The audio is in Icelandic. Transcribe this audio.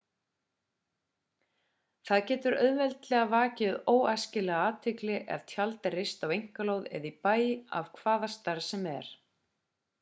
það getur auðveldlega vakið óæskilega athygli ef tjald er reist á einkalóð eða í bæ af hvaða stærð sem er